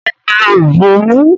Mo lo ìbòmú.